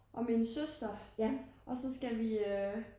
Og min søster og så skal vi øh